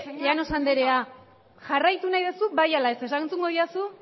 llanos anderea jarraitu nahi duzu bai ala ez erantzungo didazu